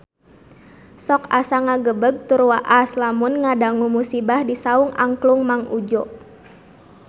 Sok asa ngagebeg tur waas lamun ngadangu musibah di Saung Angklung Mang Udjo